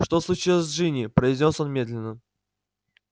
что случилось с джинни произнёс он медленно